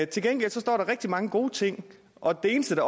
til gengæld står der rigtig mange gode ting og det eneste